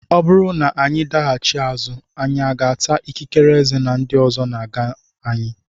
Ọ bụrụ na anyị daghachi azụ anyị aga ata ikikere eze na ndị ọzọ na-aga anyị?